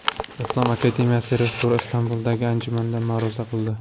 Islom akademiyasi rektori Istanbuldagi anjumanda ma’ruza qildi.